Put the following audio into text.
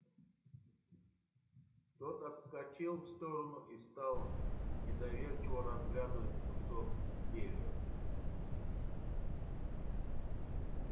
тот отскочил в сторону и стал недоверчиво разглядывать кусок изделия